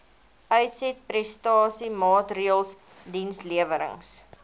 uitsetprestasie maatreëls dienslewerings